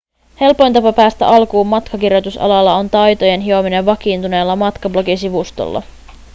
helpoin tapa päästä alkuun matkakirjoitusalalla on taitojen hiominen vakiintuneella matkablogisivustolla